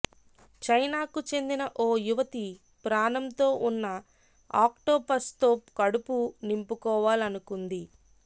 చైనాకు చెందిన ఓ యువతి ప్రాణంతో ఉన్న ఆక్టోపస్తో కడుపు నింపుకోవాలనుకుంది